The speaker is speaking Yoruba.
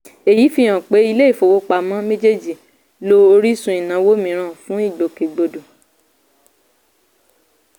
èyí fi hàn pé ilé-ìfowópamọ́ méjèèjì lo orísun ìnáwó mìíràn fún ìgbòkègbodò.